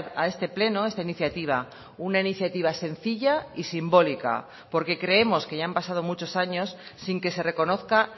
a este pleno esta iniciativa una iniciativa sencilla y simbólica porque creemos que ya han pasado muchos años sin que se reconozca